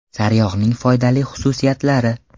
Sariyog‘ning foydali xususiyatlari.